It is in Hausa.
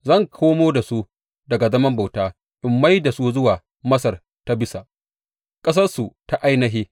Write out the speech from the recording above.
Zan komo da su daga zaman bauta in mai da su zuwa Masar ta Bisa, ƙasarsu ta ainihi.